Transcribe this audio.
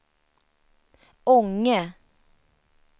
Ånge